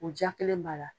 O ja kelen b'a la